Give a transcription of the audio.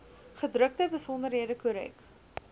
gedrukte besonderhede korrek